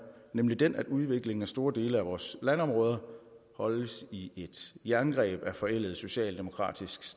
nemlig den at udviklingen af store dele af vores landområder holdes i et jerngreb af forældet socialdemokratisk